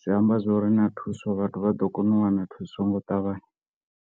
zwi amba zwori na thuso vhathu vha ḓo kona u wana thuso ngo ṱavhanya.